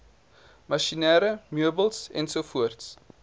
masjinerie meubels ens